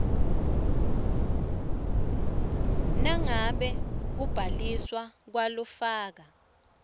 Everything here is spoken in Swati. nangabe kubhaliswa kwalofaka